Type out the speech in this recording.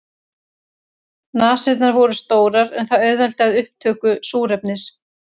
Nasirnar voru stórar en það auðveldar upptöku súrefnis.